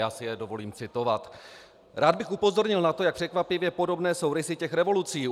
Já si je dovolím citovat: Rád bych upozornil na to, jak překvapivě podobné jsou rysy těch revolucí.